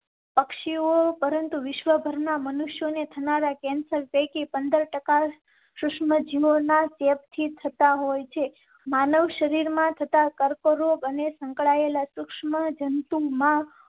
પક્ષીઓ પરંતુ વિશ્વભરમાં મનુષ્યો ને થનારાં કેન્સર પૈકી પંદર ટકા સૂક્ષ્મ જીવો ના ચેપ થી થતાં હોય છે. માનવ શરીર માં થતા કરો અને સંકળાયેલા સૂક્ષ્મ જંતુ માં